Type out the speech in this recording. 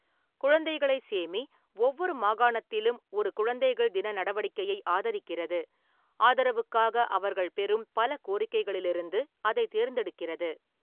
குழந்தைகளைச் சேமி ஒவ்வொரு மாகாணத்திலும் ஒரு குழந்தைகள் தின நடவடிக்கையை ஆதரிக்கிறது, ஆதரவுக்காக அவர்கள் பெறும் பல கோரிக்கைகளிலிருந்து அதைத் தேர்ந்தெடுக்கிறது.